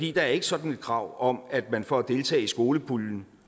er ikke sådan et krav om at man for at deltage i skolepuljen